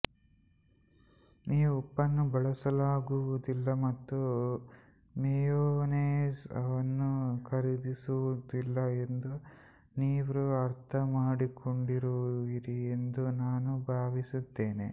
ನೀವು ಉಪ್ಪನ್ನು ಬಳಸಲಾಗುವುದಿಲ್ಲ ಮತ್ತು ಮೆಯೋನೇಸ್ ಅನ್ನು ಖರೀದಿಸುವುದಿಲ್ಲ ಎಂದು ನೀವು ಅರ್ಥಮಾಡಿಕೊಂಡಿರುವಿರಿ ಎಂದು ನಾನು ಭಾವಿಸುತ್ತೇನೆ